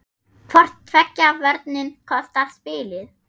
Hvor tveggja vörnin kostar spilið.